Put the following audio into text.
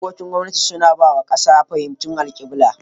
Dokokin gwamnati suna ba wa kasa fahimtar alkibla.